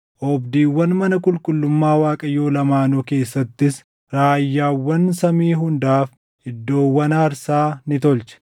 Oobdiiwwan mana qulqullummaa Waaqayyoo lamaanuu keessattis raayyaawwan samii hundaaf iddoowwan aarsaa ni tolche.